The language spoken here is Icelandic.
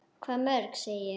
Hvað mörg, segi ég.